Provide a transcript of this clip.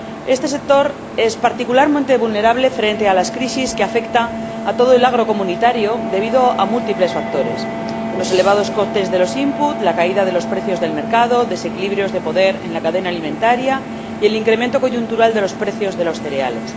Este sector es particularmente vulnerable frente a las crisis que afectan a todo el agro comunitario, debido a múltiples factores los elevados costes de los inputs la caída de los precios del mercado, desequilibrios de poder en la cadena alimentaria y el incremento coyuntural de los precios de los cereales.